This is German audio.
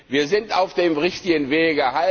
Wir sind auf dem richtigen Weg.